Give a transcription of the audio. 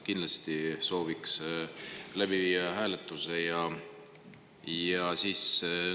Kindlasti sooviks seda hääletada.